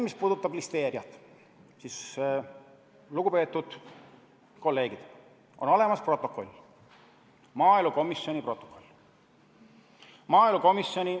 Mis puudutab listeeriat, siis, lugupeetud kolleegid, on olemas maaelukomisjoni protokoll.